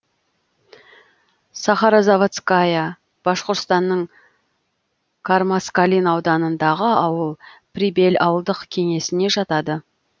сахарозаводская башқұртстанның кармаскалин ауданындағы ауыл прибель ауылдық кеңесіне жатады